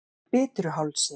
Bitruhálsi